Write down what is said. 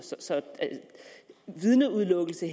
så vidneudelukkelse